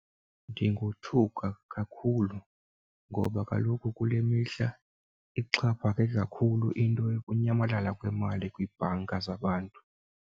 Ndingothuka kakhulu ngoba kaloku kule mihla ixhaphake kakhulu into yokunyamalala kwemali kwiibhanka zabantu.